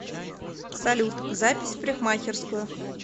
салют запись в парикхмакерскую